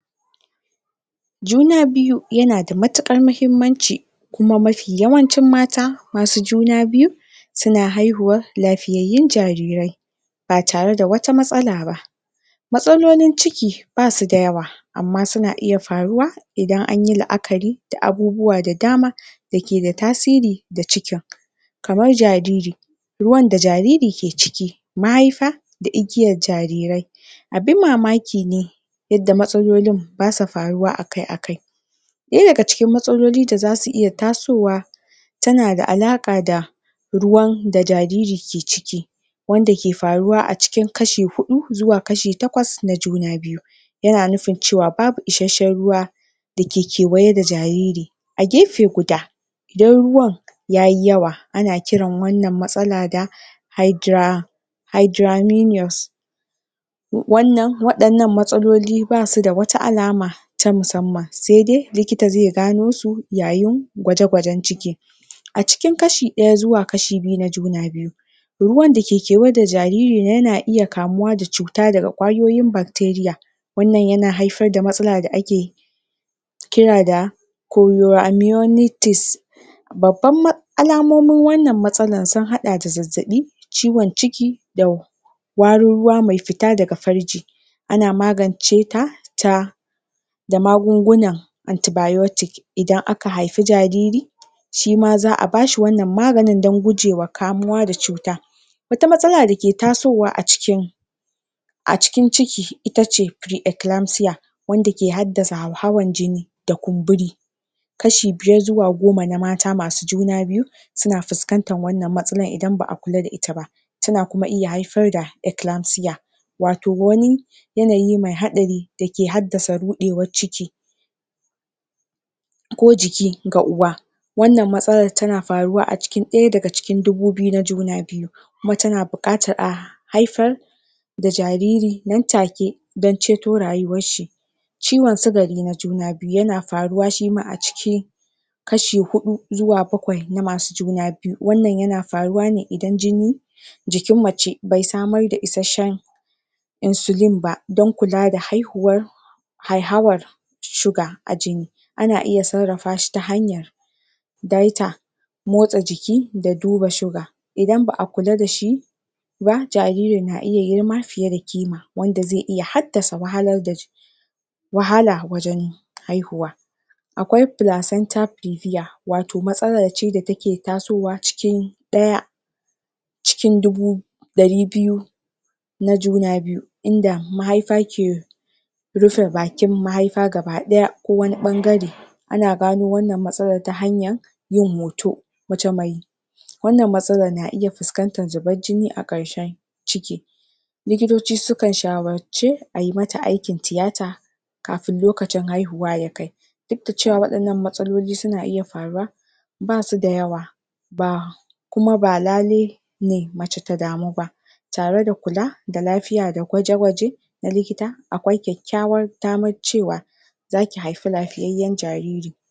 juna biyu yana da matukan mahimmanci kuma mafi yawancin mata masu juna suna haihuwan lafiyanyun jarirai ba tare da wata matsalaba matsalolon ciki basu da yawa amma suna iya faruwa idan akayi laakari da abubuwa da dama dake da tasiri da cikin kamar jariri ruwan da jariri ke ciki mahaifa da igiyar jarirai abin mamakine yadda matsalolin basa faruwa akai akai daya daga cikin matsalolin da zasu iya tasowa yana da alaka da ruwan da jariri ke ciki wanda ke faruwa a cikin kashi hudu zuwa kashi takwas na juna biyu yana bukatan cewa babu isheshshen ruwa dake kewaye da jariri a gefe guda idan ruwan yayi yawa ana kiran wan nan matsalan da hydra, hydra minious wayan nan matsaloli ba su da wata alaka ta musamman saidai likita zai ga nosu yayin kwakwagen ciki a cikin kashi daya zuwa kashi biyu na juna biyu ruwan da ke kewaye da jariri yana iya kamuwa da cutan daga kwayoyin bacteria wan nan yana haifar da matsala da ake da ake kira da corioamiorities babban alamomin wan nan matsalan sun hada da zazzabi ciwon ciki da warin ruwa mai futa daga farji ana maganceta ta da magungunan Anti-biotic idan aka haifi jariri shima zaa bashi nmaganin dan gujema kamuwa da tsuta wata matsala da ke tasuwa a cikin a cikin ciki itace pre-clilamzia wanda ke haddasa hauhawan jini da kunburi kashi biyar zuwa goma na mata masu juna biyu suna fiskantan wan nan matsalan in baa kula da ita ba tana kuma iya haifar da eclamzia wato wani yanayi mai hadari mai haddasa rudewar ciki ko jiki ga uwa wannan matsalan tana faruwa a cikin daya daga cikin juna biyu mace na bukatan a haifar da jariri nan take dan ceto rayuwar shi ciwon sugari na juna biyu yana faruwa shima a ciki kashi biyu zuwa bakwai na masu juna biyu wan nan yana faruwa ne idan jini jikin mace bai samar da ishashshen insulin ba dan kula da haihuwan hauhawan surga a jini akan iya sarrafashi ta hanyan daita motsa jiki da duba shuga idan baa kula dashi ba jaririn na iya girma fiye da kima wadda zai iya haddasa wahalar wahala wajen haihuwa akwai placenta previa wato matsalace da take tasowa cikin daya cikin dubu dari biyu na juna biyu inda mahaifa ke rufe bakin mahaifa gaba daya ko wani bangare ana gano wannan matsalan ta hanyan yin hoto mace mai wan nan matsalan na iya fuskantan zibar jini a karshen ciki likito sukan shawarce ayi mata aikin tiyata kafin lokacin haihuwa yakai dudda cewa wayan nan matsaloli suna iya faruwa ba suda yawa kuma ba lailai ne mace ta damu ba tare da kula da lafiya da kwaje kwaje na likita akwai kyakkyawan daman cewa zaki haifi lafiyanyen jariri